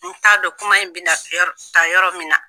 N t'a dɔn kuma in bɛ na kɛ yɔrɔ taa yɔrɔ min na.